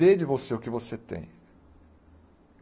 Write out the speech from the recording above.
Dê de você o que você tem.